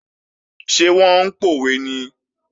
Ṣé wọ́n ń pòwe ni?